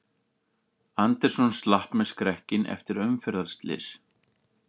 Anderson slapp með skrekkinn eftir umferðarslys